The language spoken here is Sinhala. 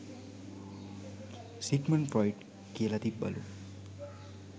සිග්මන් ෆ්‍රොයිඩ් කියල තිබ්බලු